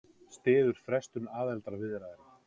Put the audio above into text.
Styður frestun aðildarviðræðna